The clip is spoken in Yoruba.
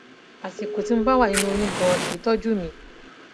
àsìkò tí mo bá wà nínú oyún ganan kì í tọjú mi